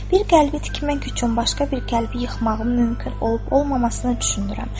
Bir qəlbi tikmək üçün başqa bir qəlbi yıxmağım mümkün olub-olmamasına düşünürəm.